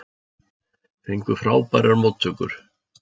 Fengu frábærar móttökur